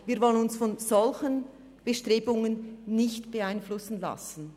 Wir wollen uns von solchen Bestrebungen nicht beeinflussen lassen.